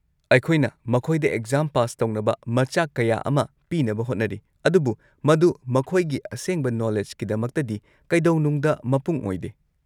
ꯑꯩꯈꯣꯏꯅ ꯃꯈꯣꯏꯗ exam pass ꯇꯧꯅꯕ ꯃꯆꯥꯛ ꯀꯌꯥ ꯑꯃ ꯄꯤꯅꯕ ꯍꯣꯠꯅꯔꯤ, ꯑꯗꯨꯕꯨ ꯃꯗꯨ ꯃꯈꯣꯏꯒꯤ ꯑꯁꯦꯡꯕ ꯅꯣꯂꯦꯖꯀꯤꯗꯃꯛꯇꯗꯤ ꯀꯩꯗꯧꯅꯨꯡꯗ ꯃꯄꯨꯡ ꯑꯣꯏꯗꯦ꯫